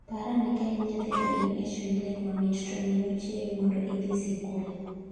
Par ane ka in nyathi to in e chuny lek mamit…..to minu chiewi mondo idhi sikul